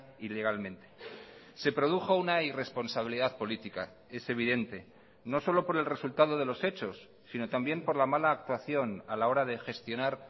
ilegalmente se produjo una irresponsabilidad política es evidente no solo por el resultado de los hechos sino también por la mala actuación a la hora de gestionar